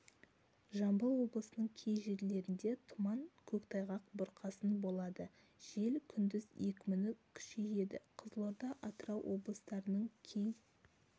жамбыл облысының кей жерлерінде тұман көктайғақ бұрқасын болады жел күндіз екпіні күшейеді қызылорда атырау облыстарының кей